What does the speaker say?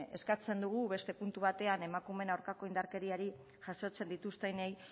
eskatzen dugu puntu beste puntu batean emakumeen aurkako indarkeriari jasotzen dituztenei